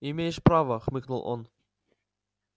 имеешь право хмыкнул он